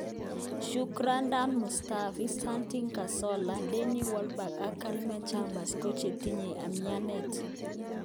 Shkrodan Mustafi, Santi Carzola, Denny Welback ak Calilum Chambers kochetinye umianet.